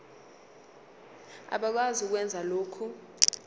abakwazi ukwenza lokhu